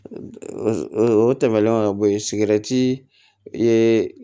O tɛmɛnen ka bɔ yen ye